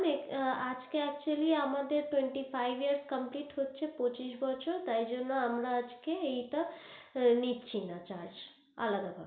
আজকে actually আমাদের twenty five years complete হচ্ছে পঁচিশ বছর তাই জন্য আমরা আজকে এই টা নিচ্ছি না, charge আলাদা ভাবে